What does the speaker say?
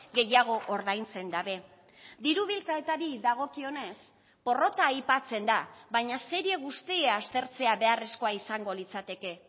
gehiago ordaintzen dabe diru bilketari dagokionez porrota aipatzen da baina serie guztia aztertzea beharrezkoa izango litzateke